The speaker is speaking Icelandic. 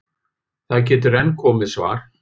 Það getur enn komið svar!